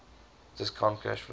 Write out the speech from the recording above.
discounted cash flow